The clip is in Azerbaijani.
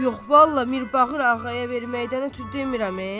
Yox, vallah Mirbağır ağaya verməkdən ötrü demirəm e.